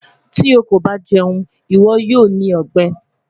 Ti o ko ba jẹun, iwọ yoo ni ọgbẹ